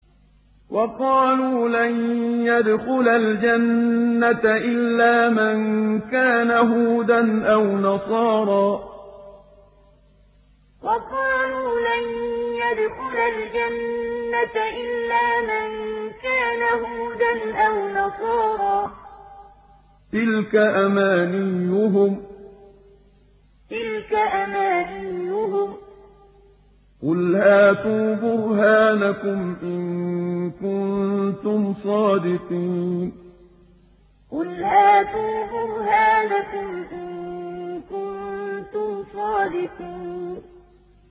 وَقَالُوا لَن يَدْخُلَ الْجَنَّةَ إِلَّا مَن كَانَ هُودًا أَوْ نَصَارَىٰ ۗ تِلْكَ أَمَانِيُّهُمْ ۗ قُلْ هَاتُوا بُرْهَانَكُمْ إِن كُنتُمْ صَادِقِينَ وَقَالُوا لَن يَدْخُلَ الْجَنَّةَ إِلَّا مَن كَانَ هُودًا أَوْ نَصَارَىٰ ۗ تِلْكَ أَمَانِيُّهُمْ ۗ قُلْ هَاتُوا بُرْهَانَكُمْ إِن كُنتُمْ صَادِقِينَ